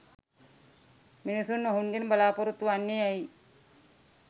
මිනිසුන් ඔහුගෙන් බලාපොරොත්තු වන්නේ ඇයි?